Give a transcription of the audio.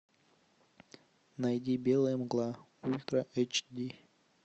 найди белая мгла ультра эйчди